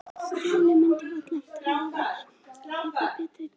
Stjáni mundi varla eftir að hafa lifað betri tíma.